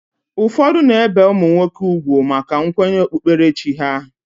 Ụfọdụ na-ebe ụmụ nwoke ugwu maka nkwenye okpukperechi ha